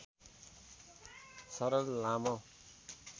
सरल लामो